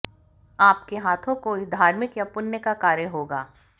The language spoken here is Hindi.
आपके हाथों कोई धार्मिक या पुण्य का कार्य होगा